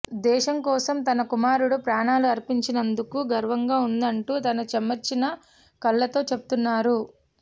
దేశం కోసం తన కుమారుడు ప్రాణాలు అర్పించినందుకు గర్వంగా ఉందంటూ తన చెమర్చిన కళ్లతో చెబుతున్నారు